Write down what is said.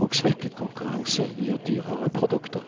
og svekket konkurranse gir dyrere produkter.